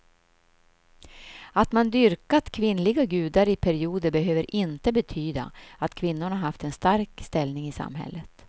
Att man dyrkat kvinnliga gudar i perioder behöver inte betyda att kvinnorna haft en stark ställning i samhället.